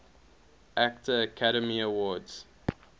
actor academy award